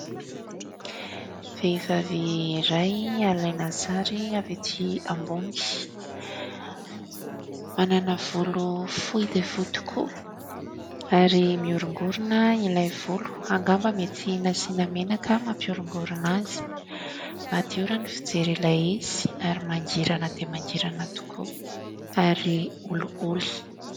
Vehivavy iray alaina sary avy ety ambony, manana volo fohy dia fohy tokoa ary miorongorona ilay volo angamba mety nasiana menaka mampiorongorina azy. Madio raha ny fijery ilay izy ary mangirana dia mangirana tokoa ary olioly.